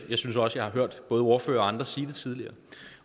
jeg synes også jeg har hørt både ordføreren og andre sige det tidligere